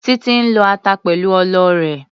Títí ń lọ ata pẹ̀lú ọlọ rẹ̀.